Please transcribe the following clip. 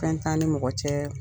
Fɛn t'an ni mɔgɔ cɛɛ